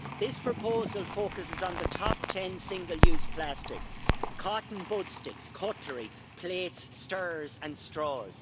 This proposal focuses on the top ten single-use plastics cotton bud sticks, cutlery, plates, stirrers and straws.